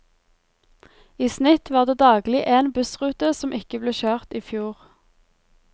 I snitt var det daglig en bussrute som ikke ble kjørt i fjor.